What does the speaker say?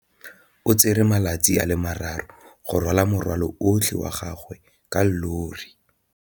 O tsere malatsi a le marraro go rwala morwalo otlhe wa gagwe ka llori.